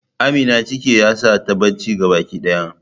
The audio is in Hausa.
Amina ciki yasa tayi bacci gabaki daya.